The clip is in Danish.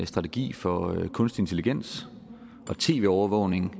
strategi for kunstig intelligens og tv overvågning